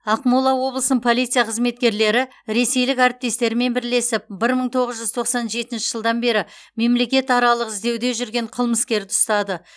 ақмола облысының полиция қызметкерлері ресейлік әріптестерімен бірлесіп бір мың тоғыз жүз тоқсан жетінші жылдан бері мемлекетаралық іздеуде жүрген қылмыскерді ұстады